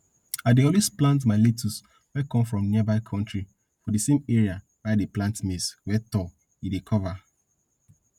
i dey always plant my lettuce wey come from nearby country for di same area wey i dey plant maize wey tall e dey cover